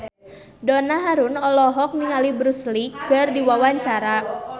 Donna Harun olohok ningali Bruce Lee keur diwawancara